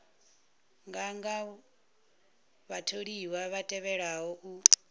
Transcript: nganga vhatholiwa vha tevhelaho u